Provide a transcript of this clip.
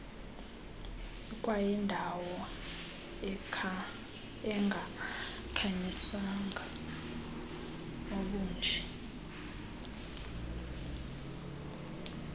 ikwayindawo engakhanyiswanga obunje